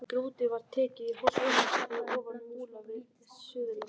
Grjótið var tekið í holtinu fyrir ofan Múla við Suðurlandsbraut.